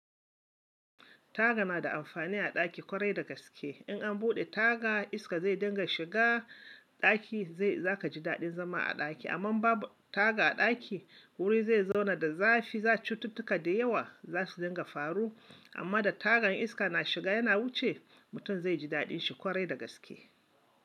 Taga na da amfani a ɗaki ƙwarai dagaske. In an buɗe taga iska zai dinga shiga ɗaki zai-- za ka ji daɗin zama a ɗaki. Amma babu taga a ɗaki wuri zai zauna da zafi, za cututtuka da yawa za su dinga faru. Amma da tagan iska na shiga yana wuce mutum zai ji daɗin shi ƙwarai dagaske.